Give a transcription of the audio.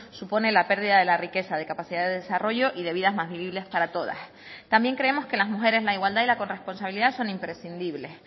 supone la pérdida de la riqueza de capacidad de desarrollo y de vidas más vivibles para todas también creemos que las mujeres la igualdad y la corresponsabilidad son imprescindibles